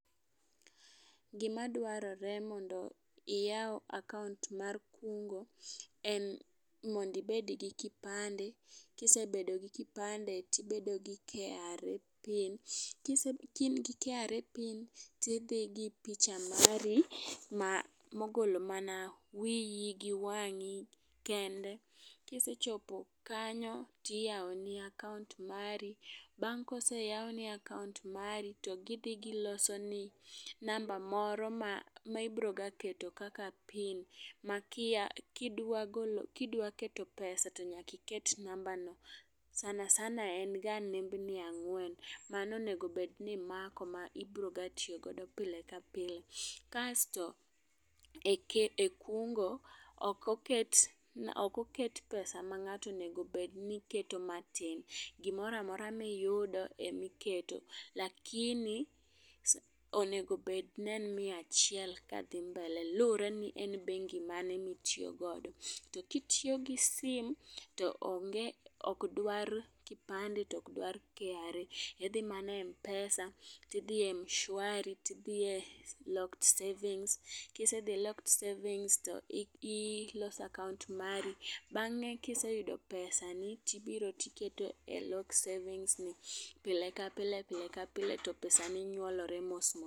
Gima dwarore mondo iyaw akaunt mar kungo en mondi bed gi kipande. Kisebedo gi kipande tibedo gi KRA pin kise kain gi KRA pin tidhi gi picha mari mogolo mana wiyi gi wang'i kende. Kisechopo kanyo tiyawo ni akaunt mari. Bang koseyaw ni akaunt mari to gidhi giloso ni namba moro ma ibro ga keto kaka pin ma makidwa kidwa keto pesa tonyaki ket pesano. Sanasana en ga nembni ang'wen mano onego bed ni i mako ma ibro ga tiyo godo pile ka pile . Kasto e ke e kungo okoket okoket pesa ma ngato onego bed ni keto matin gimoramora miyudo emiketo. Lakini onego bedni en mia achiel kadhi mbele lure ni en bengi mane mitiyo godo to kitiyo gi simto onge ok dwar kipande tok dwar kra tidhi mane mpesa tidhi e mshwari tidhi e lock savings. Kisedhi i lock savings to ilosa akaunt mari. Bang'e kiseyudo pesani tibiro tikete lock savings no pile ka pile pile ka pile to pesa ni nyuolore mos mos.